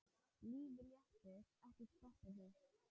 Lífið lætur ekkert stoppa sig.